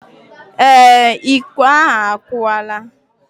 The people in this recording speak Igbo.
Ee, Iko ahu akuwala